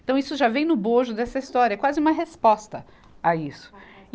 Então isso já vem no bojo dessa história, é quase uma resposta a isso.